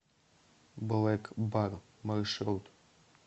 блэкбар маршрут